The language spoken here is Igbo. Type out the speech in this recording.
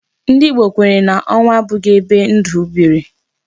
Ndị Igbo kwenyere na onwu abụghị ebe ndụ bere.